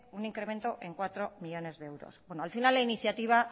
un incremento en cuatro millónes de euros bueno al final la iniciativa